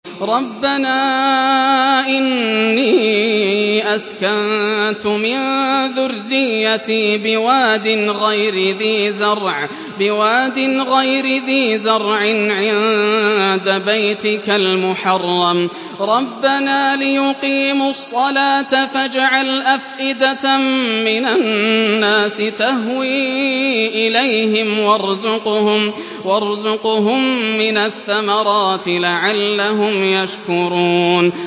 رَّبَّنَا إِنِّي أَسْكَنتُ مِن ذُرِّيَّتِي بِوَادٍ غَيْرِ ذِي زَرْعٍ عِندَ بَيْتِكَ الْمُحَرَّمِ رَبَّنَا لِيُقِيمُوا الصَّلَاةَ فَاجْعَلْ أَفْئِدَةً مِّنَ النَّاسِ تَهْوِي إِلَيْهِمْ وَارْزُقْهُم مِّنَ الثَّمَرَاتِ لَعَلَّهُمْ يَشْكُرُونَ